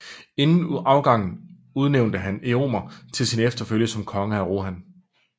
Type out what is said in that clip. Inden afgangen udnævnte han Èomer til sin efterfølger som konge af Rohan